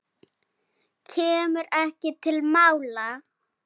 Kemur ekki til mála!